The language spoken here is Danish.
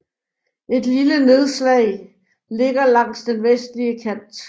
Et lille nedslag ligger langs den vestlige kant